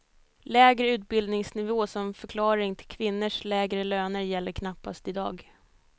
Lägre utbildningsnivå som förklaring till kvinnors lägre löner gäller knappast i dag.